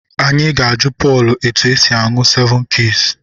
Anyị ga-ajụ Pọl etu esi aṅụ sevụn kiis.